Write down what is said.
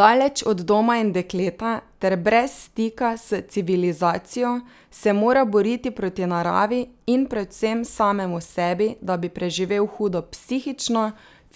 Daleč od doma in dekleta ter brez stika s civilizacijo se mora boriti proti naravi in predvsem samemu sebi, da bi preživel hudo psihično,